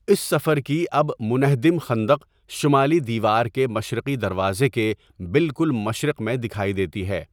اس سفر کی اب منہدم خندق شمالی دیوار کے مشرقی دروازے کے بالکل مشرق میں دکھائی دیتی ہے۔